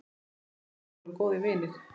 Við afi vorum góðir vinir.